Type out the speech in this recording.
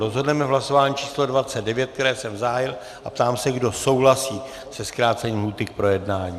Rozhodneme v hlasování číslo 29, které jsem zahájil, a ptám se, kdo souhlasí se zkrácením lhůty k projednání.